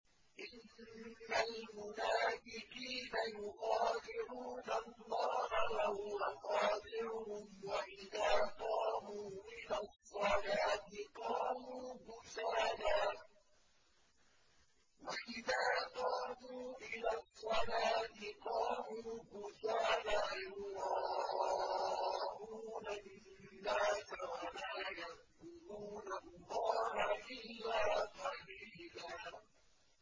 إِنَّ الْمُنَافِقِينَ يُخَادِعُونَ اللَّهَ وَهُوَ خَادِعُهُمْ وَإِذَا قَامُوا إِلَى الصَّلَاةِ قَامُوا كُسَالَىٰ يُرَاءُونَ النَّاسَ وَلَا يَذْكُرُونَ اللَّهَ إِلَّا قَلِيلًا